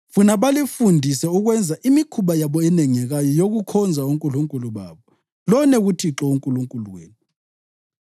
Funa balifundise ukwenza imikhuba yabo enengekayo yokukhonza onkulunkulu babo, lone kuThixo uNkulunkulu wenu.